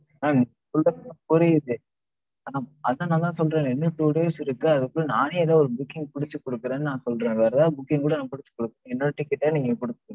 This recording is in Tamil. madam நீங்க சொல்றது எல்லாம் புரியுது. ஆனா அதான் நாதான் சொல்றனே, இன்னு two days இருக்கு, அதுக்குள்ள நானே எதோ ஒரு புக்கிங் புடிச்சு குடுக்குறன்னு நான் சொல்ற. வேற எதா booking கூட நான் புடிச்சு குடுக்குறன். என்ன வச்சு கேட்டா நீங்க